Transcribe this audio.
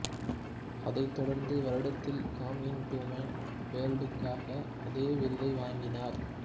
அதைத் தொடர்ந்த வருடத்தில் கம் இன் டு மை வேர்ல்டுக்காக அதே விருதை வாங்கினார்